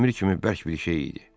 Dəmir kimi bərk bir şey idi.